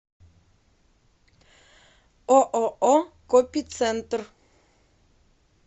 ооо копицентр